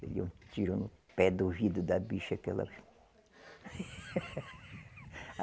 Um tiro no pé do ouvido da bicha que ela.